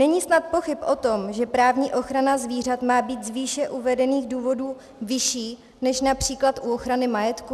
Není snad pochyb o tom, že právní ochrana zvířat má být z výše uvedených důvodů vyšší než například u ochrany majetku.